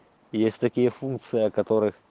есть такие функции о которых